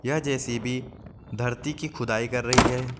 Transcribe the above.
यह जे_सी_बी धरती की खुदाई कर रही है।